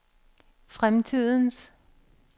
fremtidens